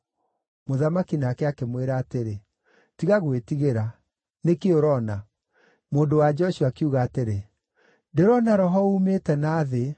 Mũthamaki nake akĩmwĩra atĩrĩ, “Tiga gwĩtigĩra. Nĩ kĩĩ ũroona?” Mũndũ-wa-nja ũcio akiuga atĩrĩ, “Ndĩrona roho uumĩte na thĩ.”